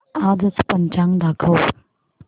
आजचं पंचांग दाखव